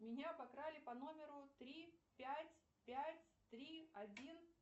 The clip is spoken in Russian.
меня обокрали по номеру три пять пять три один